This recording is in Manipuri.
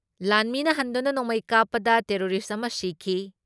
ꯂꯥꯟꯃꯤꯅ ꯍꯟꯗꯨꯅ ꯅꯣꯡꯃꯩ ꯀꯥꯞꯄꯗ ꯇꯦꯔꯣꯔꯤꯁ ꯑꯃ ꯁꯤꯈꯤ ꯫